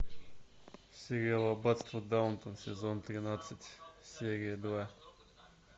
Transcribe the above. сериал аббатство даунтон сезон тринадцать серия два